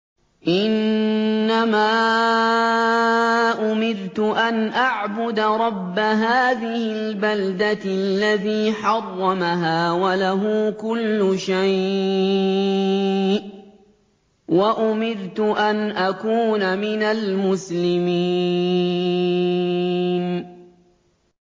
إِنَّمَا أُمِرْتُ أَنْ أَعْبُدَ رَبَّ هَٰذِهِ الْبَلْدَةِ الَّذِي حَرَّمَهَا وَلَهُ كُلُّ شَيْءٍ ۖ وَأُمِرْتُ أَنْ أَكُونَ مِنَ الْمُسْلِمِينَ